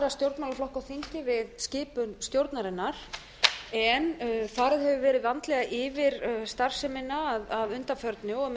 stjórnmálaflokka á þingið skipun stjórnarinnar en farið hefur verið vandlega yfir starfsemina að undanförnu með